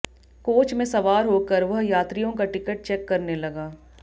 coach में सवार होकर वह यात्रियों का टिकट चेक करने लगा